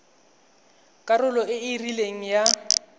karolo e e rileng ya